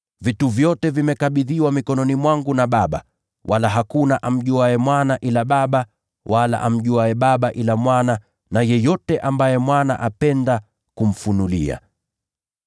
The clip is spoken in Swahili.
“Nimekabidhiwa vitu vyote na Baba yangu. Hakuna mtu amjuaye Mwana ni nani ila Baba, wala hakuna amjuaye Baba ni nani ila Mwana na yeyote ambaye Mwana anapenda kumfunulia.”